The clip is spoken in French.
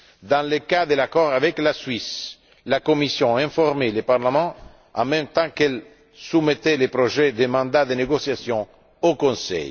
Dans le cas de l'accord avec la Suisse, la Commission a informé le Parlement en même temps qu'elle soumettait le projet de mandat de négociation au Conseil.